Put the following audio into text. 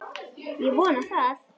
Ég vona það!